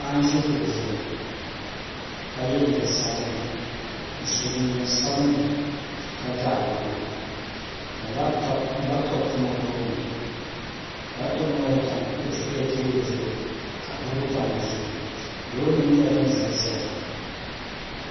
Paɣa n ʒi kuɣu zuɣu ka yɛ liiga sabinli n so jinjɛm sabinli ka ga agogo ka labtop tam o tooni labtop ŋo nyɛla din tam teebuli zuɣi ka buku tam teebuli zuɣu loori nim nyɛla din ʒɛnʒɛya